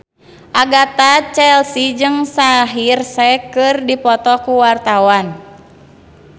Agatha Chelsea jeung Shaheer Sheikh keur dipoto ku wartawan